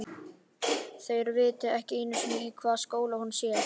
Þeir viti ekki einu sinni í hvaða skóla hún sé.